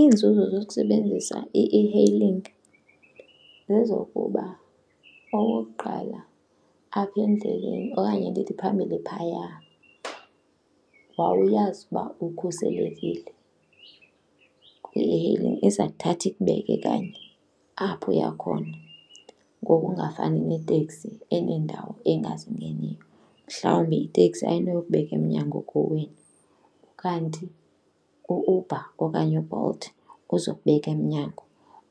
Iinzuzo zokusebenzisa i-e-hailing zezokuba okokuqala apha endleleni okanye ndithi phambili phaya wawuyazi ukuba ukhuselekile kuba kwi-e-hailing, iza kuthatha ikubeke kanye apho uya khona ngokungafani neteksi eneendawo engazingeniyo. Mhlawumbi iteksi ayinokubeka emnyango kowenu kanti u-Uber okanye uBolt uzokubeka emnyango.